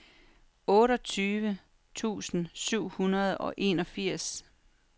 otteogtyve tusind syv hundrede og enogfirs